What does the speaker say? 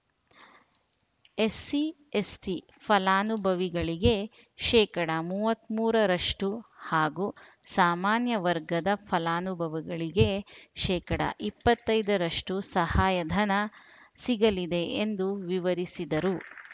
SC ST ಫಲಾನುಭವಿಗಳಿಗೆ ಶೇಕಡಾ ಮೂವತ್ತ್ ಮೂರರಷ್ಟುಹಾಗೂ ಸಾಮಾನ್ಯ ವರ್ಗದ ಫಲಾನುಭವಿಗಳಿಗೆ ಶೇಕಡಾ ಇಪ್ಪತ್ತೈದರಷ್ಟುಸಹಾಯಧನ ಸಿಗಲಿದೆ ಎಂದು ವಿವರಿಸಿದರು